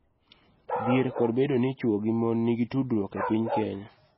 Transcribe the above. Dhier kod bedo ni chwo gi mon nigi tudruok e piny Kenya.